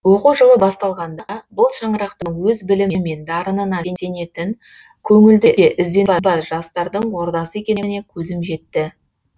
оқу жылы басталғанда бұл шаңырақтың өз білімі мен дарынына сенетін көңілді де ізденімпаз жастардың ордасы екеніне көзім жетті